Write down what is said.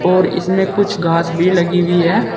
और इसमें कुछ घास भी लगी हुई हैं।